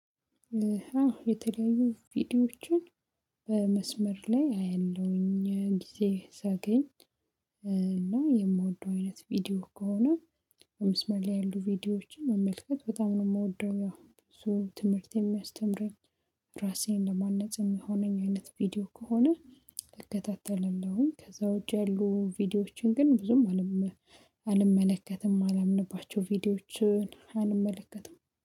የተለያዩ ቪዲዮዎችን በመስመር ላይ አያለሁኝ ጊዜ ሳገኝ እና የምወደው አይነት ቪዲዮ ከሆነ በመስመር ላይ ያሉ ቪዲዮዎችን መመልከት በጣም ነው የምወደው። ያው እሱ ትምህርት የሚያስተምረኝ ራሴን ለማነጽ የሚሆነኝ አይነት ቪዲዮ ከሆነ እከታተለለሁኝ። ከዛ ውጪ ያሉ ቪዲዮዎችን ግን ብዙም አልመለከትም። አላምንባቸው ቪዲዮዎችን አንመለከትም